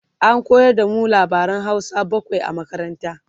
an koyar da mu labaran Hausa bakwai a makaranta